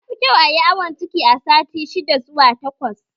Yafi kyau ayi awon ciki a sati shidda zuwa takwas